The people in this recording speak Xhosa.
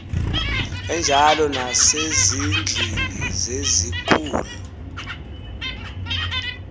enjalo nasezindlwini zezikhul